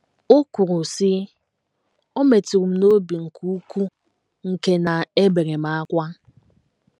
O kwuru, sị, “ O metụrụ m n’obi nke ukwuu nke na ebere m ákwá. ”